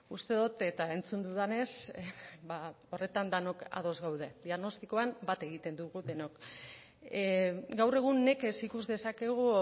uste dut eta entzun dudanez ba horretan denok ados gaude diagnostikoan bat egiten dugu denok gaur egun nekez ikus dezakegu